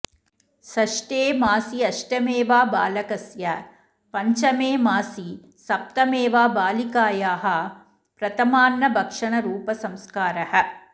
षष्ठे मासि अष्टमे वा बालकस्य पञ्चमे मासि सप्तमे वा बालिकायाः प्रथमान्नभक्षणरूपसंस्कारः